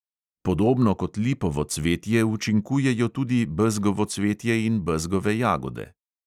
Podobno kot lipovo cvetje učinkujejo tudi bezgovo cvetje in bezgove jagode.